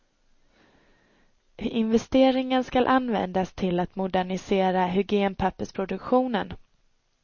Investeringen skall användas till att modernisera hygienpappersproduktionen.